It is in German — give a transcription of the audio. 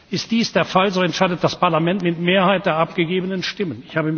Ist dies der Fall, so entscheidet das Parlament mit der Mehrheit der abgegebenen Stimmen.